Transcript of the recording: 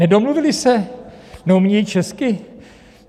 Nedomluvili se, neumějí česky?